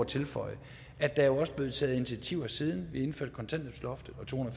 tilføje at der jo også er blevet taget initiativer siden vi indførte kontanthjælpsloftet og to